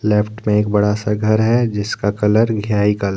left में एक बड़ा सा घर है जिसका कलर घ्याई कलर --